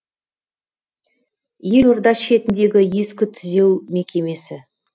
елорда шетіндегі ескі түзеу мекемесі